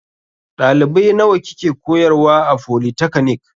Ɗalibai nawa kike koyarwa a folitakanik?